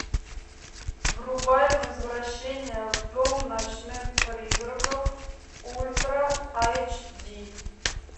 врубай возвращение в дом ночных призраков ультра эйч ди